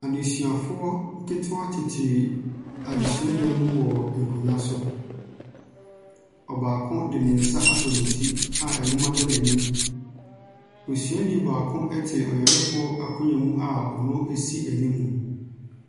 Adesuafoɔ ketoa tete adesua dɛm wɔ nkonwa so. Ɔbaako de ne nsa asɔ ne ti a nwoma da n'enim. Osua ni baako ɛte ɔyarefoɔ akonwa mu a ɔno esi enim mo.